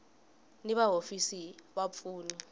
ni va hofisi va vapfuni